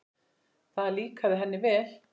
Það líkaði henni vel.